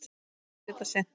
Þeir geta synt.